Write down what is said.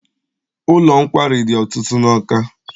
Ụlọ nkwari dị ọtụtụ n'Awka.